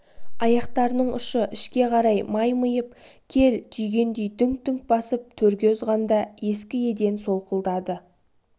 аяқтарының ұшы ішке қарай маймиып кел түйгендей дүңк-дүңк басып төрге озғанда ескі еден солқылдады